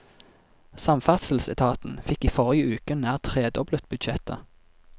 Samferdselsetaten fikk i forrige uke nær tredoblet budsjettet.